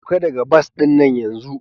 Sauka daga bas din nan yanzu!